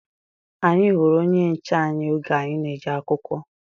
Anyị hụrụ onye nche anyị oge anyị na-eje akwụkwọ